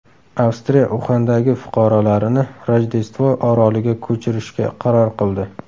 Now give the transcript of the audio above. Avstraliya Uxandagi fuqarolarini Rojdestvo oroliga ko‘chirishga qaror qildi.